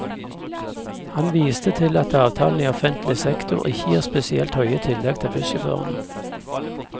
Han viste til at avtalene i offentlig sektor ikke gir spesielt høye tillegg til bussjåførene.